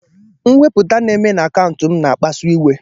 Mwepụ na-eme na akaụntụ m na-akpasu iwe.